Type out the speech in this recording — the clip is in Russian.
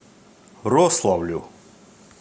рославлю